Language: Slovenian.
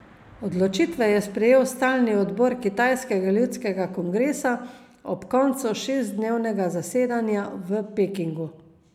Odločitve je sprejel stalni odbor kitajskega ljudskega kongresa ob koncu šestdnevnega zasedanja v Pekingu.